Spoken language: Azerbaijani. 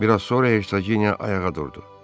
Bir az sonra Ersaqinya ayağa durdu.